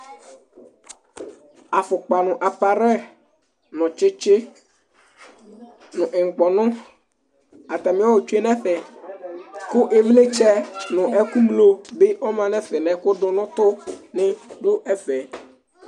Afukpa nu aparɛy, nu tsitsi, nu ŋukpɔnu, atami ɔ tsue nu ɛfɛ Ku iwlitsɛ nu ɛku ɣlo bi ɔma nu ɛfɛ, nu ɛkuɖunutu ni ɖu ɛfɛ